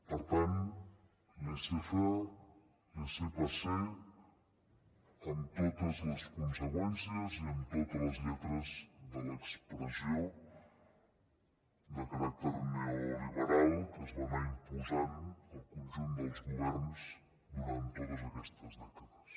per tant laissez faire laissez passer amb totes les conseqüències i amb totes les lletres de l’expressió de caràcter neoliberal que es va anar imposant al conjunt dels governs durant totes aquestes dècades